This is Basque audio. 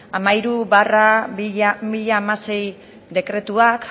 hamairu barra bi mila hamasei dekretuak